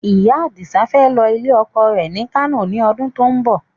Ìyá Adisa fẹ́ lọ ilé ọkọ rẹ ni Kano ni ọdún to ń bọ̀